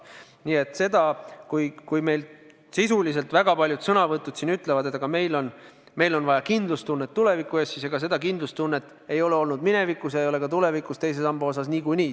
Nii et kui väga paljud on siin sõna võttes öelnud, et meil on vaja kindlustustunnet tuleviku ees, siis ega seda kindlustunnet ei ole olnud minevikus ega ole ka tulevikus teise samba osas niikuinii.